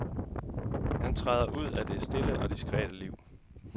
Han træder ud af det stille og diskrete liv.